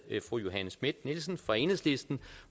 fru johanne schmidt nielsen fra enhedslisten